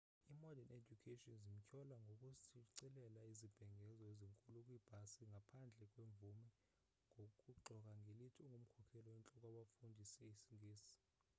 i-mordern education zimtyhola ngokushicilela izibhengezo ezinkulu kwiibhasi ngaphandle kwemvume nokuxoka ngelithi ungumkhokeli oyintloko wabafundisa isingesi